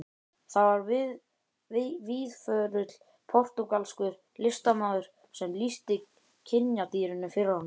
Það var víðförull portúgalskur listamaður sem lýsti kynjadýrinu fyrir honum.